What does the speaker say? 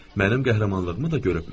Mənim qəhrəmanlığımı da görübmüş.